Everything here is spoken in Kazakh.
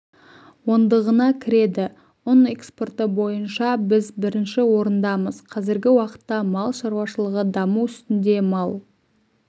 ондығына кіреді ұн экспорты бойынша біз бірінші орындамыз қазіргі уақытта мал шаруашылығы даму үстінде мал